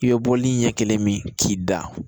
I bɛ bɔli ɲɛ kelen min k'i da